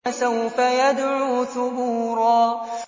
فَسَوْفَ يَدْعُو ثُبُورًا